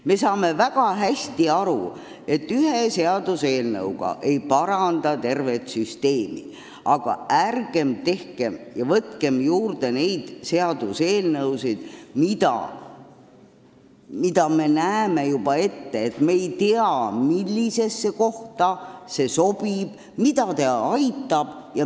Me saame väga hästi aru, et ühe seaduseelnõuga ei paranda tervet süsteemi, aga ärgem tehkem juurde neid seaduseelnõusid, mille puhul me näeme juba ette, et me ei tea, millisesse kohta ta sobib ja keda ta aitab.